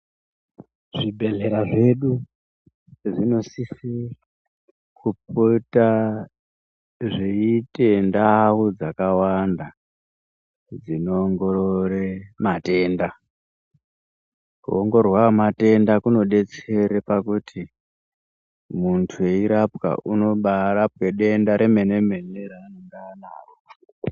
Zvi bhedhleya zvedu zvino sise kupota zveite ndau dzakawanda dzino ongorore matenda ku ongororwa kwe matenda kuno detsera pakuti muntu eyi rapwa unobai rapwe denda re mene mene raanonga anaro.